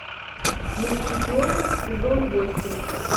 мушкетеры сезон восемь